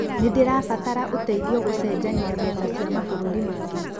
Nĩ ndĩrabatara ũteithio gũcenjania mbeca cia mabũrũri mangĩ.